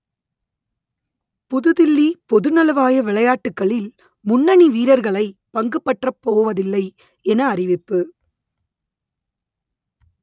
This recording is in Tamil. புதுதில்லி பொதுநலவாய விளையாட்டுக்களில் முன்னணி வீரர்களை பங்குபற்றப்போவதில்லை என அறிவிப்பு